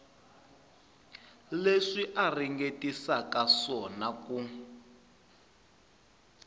leswi a ringetisaka xiswona ku